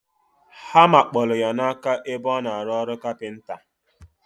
Hama kpolu ya na aka ebe ona alu olu capenta.